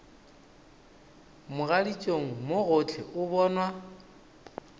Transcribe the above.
mogaditšong mo gohle o bonwa